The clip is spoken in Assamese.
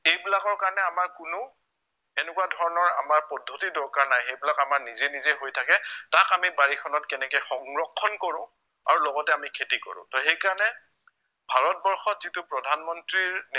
সেইবিলাকৰ কাৰণে আমাৰ কোনো এনেকুৱা ধৰণৰ আমাৰ পদ্ধতি দৰকাৰ নাই সেইবিলাক আমাৰ নিজে নিজে হৈ থাকে তাক আমি বাৰিখনত কেনেকে সংৰক্ষণ কৰো আৰু লগতে আমি খেতি কৰো তহ সেইকাৰণে ভাৰতবৰ্ষত যিটো প্ৰধান মন্ত্ৰীৰ নেতৃত্ৱত